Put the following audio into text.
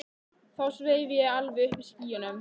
Þá sveif ég alveg uppi í skýjunum.